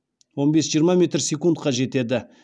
он бес жиырма метр секундқа жетеді